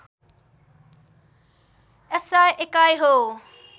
SI एकाइ हो